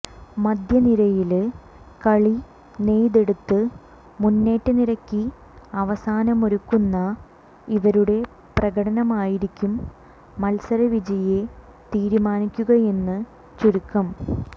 മധ്യനിരയില് കളി നെയ്തെടുത്ത് മുന്നേറ്റനിരയ്ക്ക് അവസരമൊരുക്കുന്ന ഇവരുടെ പ്രകടനമായിരിക്കും മല്സരവിജയിയെ തീരുമാനിക്കുകയെന് ചുരുക്കം